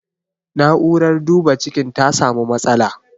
Na'urar duba cikin ta samu matsala.